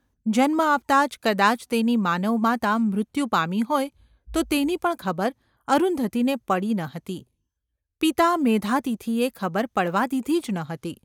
જન્મ આપતાં જ કદાચ તેની માનવ માતા મૃત્યુ પામી હોય તો તેની પણ ખબર અરુંધતીને પડી ન હતી – પિતા મેધાતિથિએ એ ખબર પડવા દીધી જ ન હતી.